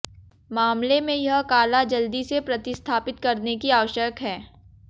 मामले में यह काला जल्दी से प्रतिस्थापित करने के लिए आवश्यक है